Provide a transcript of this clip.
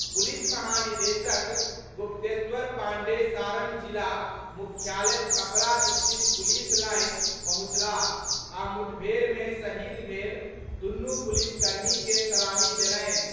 Police महानिदेशक गुप्तेश्वर पांडेय सारण जिला मुख्यालय छपरा स्थित पुलिस लाईन पहुंचलाह आ मुठभेड़ में शहीद भेल दुनू पुलिस कर्मी के सलामी देलनि।